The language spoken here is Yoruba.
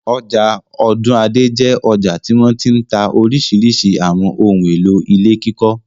Ọjà Ọ̀dúnadé jẹ́ ọjà tí wọ́n ti ń ta oríṣiríṣi àwọn ohun-èlò ilé kíkọ́.